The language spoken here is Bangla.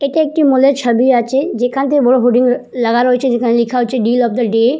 এটা একটি মলের ছবি আছে যেখানটায় হোডিং লাগানো হয়েছে যেখানে লেখা আছে ডিল অফ দা ডে ।